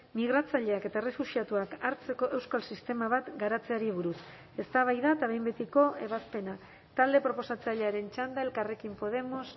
migratzaileak eta errefuxiatuak hartzeko euskal sistema bat garatzeari buruz eztabaida eta behin betiko ebazpena talde proposatzailearen txanda elkarrekin podemos